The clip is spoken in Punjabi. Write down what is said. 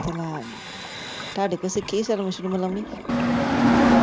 ਤੇ ਮੈਂ ਤਾਡੇ ਕੋਲ ਸਿੱਖੀ ਸਰਮ ਸੁਰਮ ਲਾਉਣੀ।